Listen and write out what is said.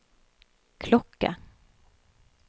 klokke